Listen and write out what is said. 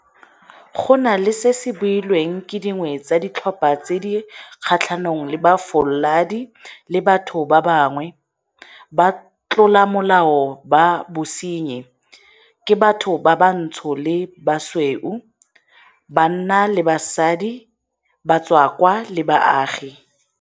Go na le seo se builweng ke dingwe tsa ditlhopha tse di kgatlhanong le bofaladi le batho ba bangwe, batlolamolao ba bosenyi ke batho bantsho le basweu, banna le basadi, batswakwa le baagi.